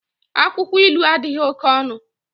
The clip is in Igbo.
Akwụkwọ ilu adịghị oke ọnụ